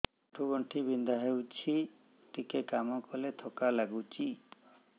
ଆଣ୍ଠୁ ଗଣ୍ଠି ବିନ୍ଧା ହେଉଛି ଟିକେ କାମ କଲେ ଥକ୍କା ଲାଗୁଚି